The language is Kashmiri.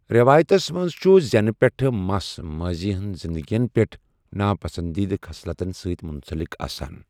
رٮ۪وایتَس منٛز چھُ زینہٕ پٮ۪ٹھ مَس ماضی ہنٛز زندگیَن پٮ۪ٹھ ناپسندیدٕ خصلتن سۭتۍ منسلک آسان.